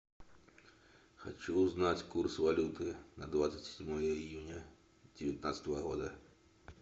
хочу узнать курс валюты на двадцать седьмое июня девятнадцатого года